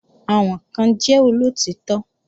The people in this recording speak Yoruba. Àwọn kan jẹ́ olóòtítọ́